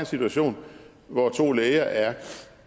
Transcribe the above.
situation hvor to læger er